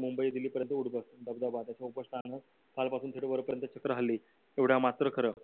मुंबई दिल्ली पर्यंत चित्र हल्ली एवढं मात्र खरं